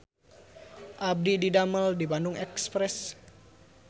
Abdi didamel di Bandung Express